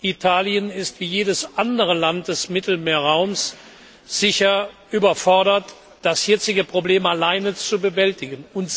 Italien ist wie jedes andere Land des Mittelmeerraums sicher überfordert, das jetzige Problem allein zu bewältigen.